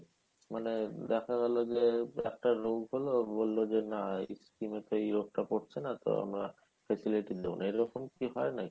দেখা গেলো যে একটা রোগ হলো বললো না এই skim তো এই রোগ হচ্ছে না তাই আমরা facility দেই না এরকম কি হয় নাকি?